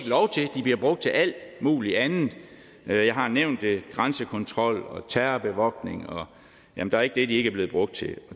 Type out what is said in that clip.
bliver brugt til alt muligt andet jeg har nævnt grænsekontrol terrorbevogtning ja der er ikke det de ikke er blevet brugt til og